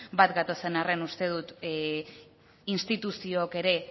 bat gatozen arren uste dut instituziook ere